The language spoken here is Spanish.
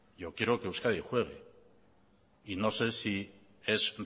yo quiero que euskadi juegue y no sé si es